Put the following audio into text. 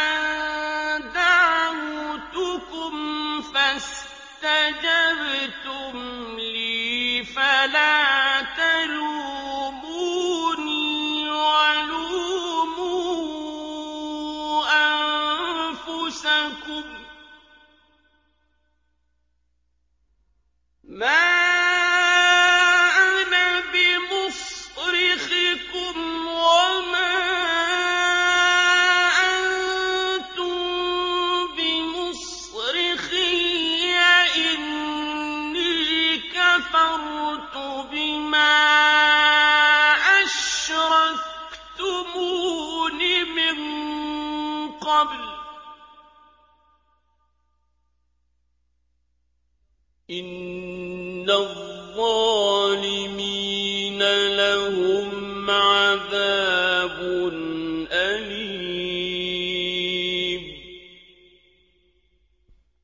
أَن دَعَوْتُكُمْ فَاسْتَجَبْتُمْ لِي ۖ فَلَا تَلُومُونِي وَلُومُوا أَنفُسَكُم ۖ مَّا أَنَا بِمُصْرِخِكُمْ وَمَا أَنتُم بِمُصْرِخِيَّ ۖ إِنِّي كَفَرْتُ بِمَا أَشْرَكْتُمُونِ مِن قَبْلُ ۗ إِنَّ الظَّالِمِينَ لَهُمْ عَذَابٌ أَلِيمٌ